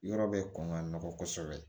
Yɔrɔ bɛ kɔn ka nɔgɔ kosɛbɛ